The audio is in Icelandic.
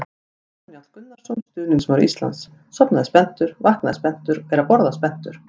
Gunnar Njáll Gunnarsson, stuðningsmaður Íslands: Sofnaði spenntur, vaknaði spenntur, er að borða spenntur!